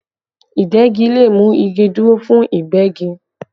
Ìdegi le mú igi dúró fún Ìgbẹ́gi